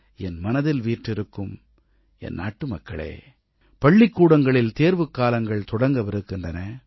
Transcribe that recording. என் மனதில் வீற்றிருக்கும் என் நாட்டுமக்களே பள்ளிக்கூடங்களில் தேர்வுக்காலங்கள் தொடங்கவிருக்கின்றன